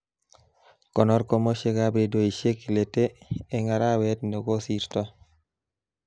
Konor komoshekab redoishekab lete eng arawet nekosirtoy